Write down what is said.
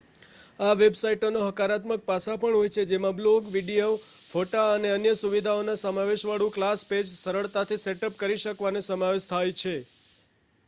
આ વેબસાઇટોના હકારાત્મક પાસાં પણ હોય છે જેમાં બ્લૉગ વીડિયો ફોટા અને અન્ય સુવિધાઓના સમાવેશવાળું ક્લાસ પેજ સરળતાથી સેટઅપ કરી શકવાનો સમાવેશ થાય છે